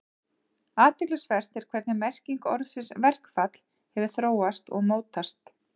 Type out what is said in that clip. Athyglisvert er hvernig merking orðsins verkfall hefur þróast og mótast.